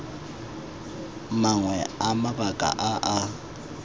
mangwe a mabaka a a